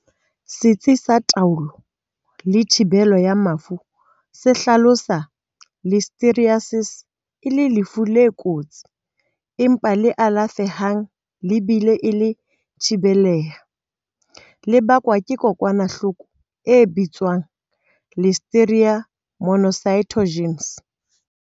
Setsi sa Taolo le Thibelo ya Mafu se hlalosa Listeriosis e le lefu le kotsi empa le alafe hang le bile e le thibelleha, le bakwang ke kokwanahloko e bitswang Listeria monocytogenes.